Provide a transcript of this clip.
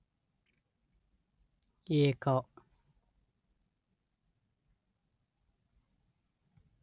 ಏಕ